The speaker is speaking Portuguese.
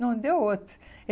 Não deu outro.